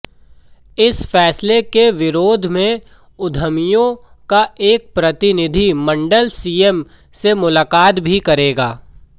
इस फैसले के विरोध में उद्यमियों का एक प्रतिनिधि मंडल सीएम से मुलाकात भी करेगा